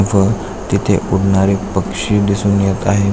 व तिथे उडणारे पक्षी दिसून येत आहे.